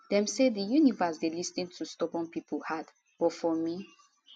dem say di universe dey lis ten to stubborn pipo heart but for me